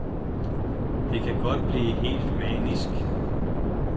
Det kan godt blive helt manisk.